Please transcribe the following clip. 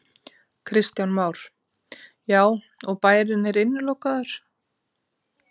Kristján Már: Já, og bærinn er innilokaður?